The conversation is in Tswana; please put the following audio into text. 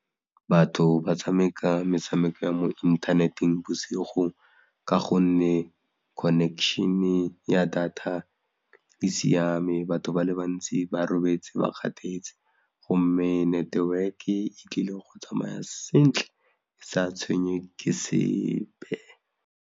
Batho ba tshameka metshameko ya mo inthaneteng bosigo ka gonne connection-e ya data e siame, batho ba le bantsi ba robetse ba kgathetse, gomme network-e e tlile go tsamaya sentle e sa tshwenye ke sepe.